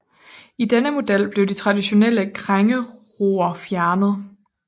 I denne model blev de traditionelle krængeror fjernet